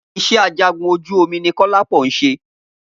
Iṣẹ́ ajagun ojú omi ni Kọ́lápọ̀ ń ṣe